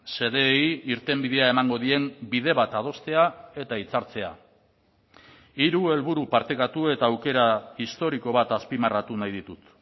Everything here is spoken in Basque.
xedeei irtenbidea emango dien bide bat adostea eta hitzartzea hiru helburu partekatu eta aukera historiko bat azpimarratu nahi ditut